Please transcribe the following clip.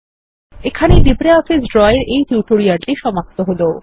এখানেই LibreOffice Draw এর এই টিউটোরিয়ালটি সমাপ্ত হল